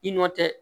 I nɔ tɛ